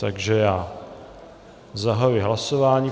Takže já zahajuji hlasování.